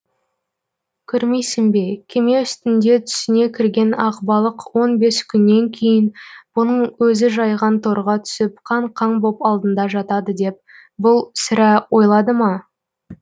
көрмейсің бе кеме үстінде түсіне кірген ақбалық он бес күннен кейін бұның өзі жайған торға түсіп қан қан боп алдында жатады деп бұл сірә ойлады ма